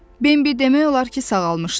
Bembi demək olar ki, sağalmışdı.